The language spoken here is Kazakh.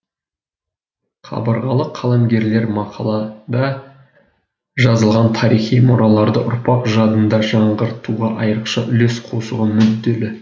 қабырғалы қаламгерлер мақалада жазылған тарихи мұраларды ұрпақ жадында жаңғыртуға айрықша үлес қосуға мүдделі